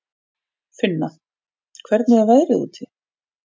Finna, hvernig er veðrið úti?